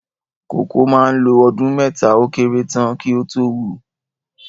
Kòkó mà ń lo ọdún mẹ́ta ó kéré tán kí ó tó wù